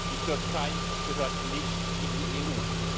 Die Türkei gehört nicht in die EU.